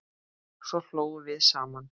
Svo hlógum við saman.